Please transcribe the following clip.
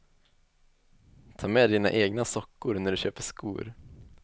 Ta med dina egna sockor när du köper skor.